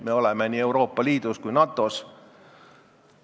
Me oleme nii Euroopa Liidus kui ka NATO-s.